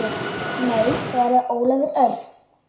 Nei svaraði Ólafur Örn.